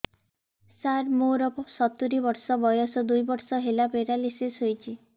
ସାର ମୋର ସତୂରୀ ବର୍ଷ ବୟସ ଦୁଇ ବର୍ଷ ହେଲା ପେରାଲିଶିଶ ହେଇଚି